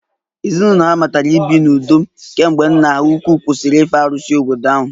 Ezinụlọ ahụ malitere ibi n'udo kemgbe nna ha ukwuu kwụsịrị ife arusi obodo ahụ